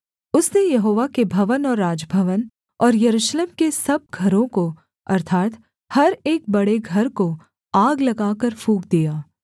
उसने यहोवा के भवन और राजभवन और यरूशलेम के सब घरों को अर्थात् हर एक बड़े घर को आग लगाकर फूँक दिया